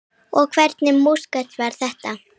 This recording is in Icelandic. Og hvernig músík var þetta?